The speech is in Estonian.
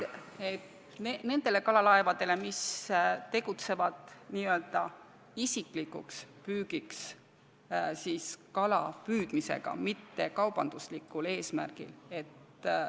See käib nende kalalaevade kohta, mis tegutsevad n-ö isiklikuks püügiks kalapüüdmisega, mitte kaubanduslikult eesmärgil kalapüüdmisega.